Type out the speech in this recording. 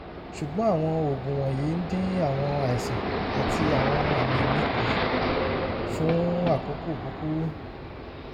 ṣùgbọ́n àwọn oògùn wọ̀nyí ń dín àwọn àìsàn àti àwọn àmì mi kù fún àkókò kúkúrú